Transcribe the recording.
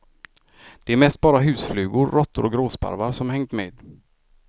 Det är mest bara husflugor, råttor och gråsparvar som hängt med.